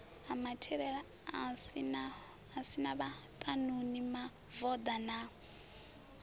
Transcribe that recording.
si na vhaṱanuni mavoḓa na